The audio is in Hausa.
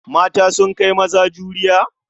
Mata sun kai maza juriya?